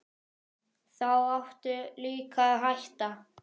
Þá áttu líka að hætta.